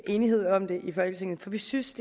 enighed om det i folketinget for vi synes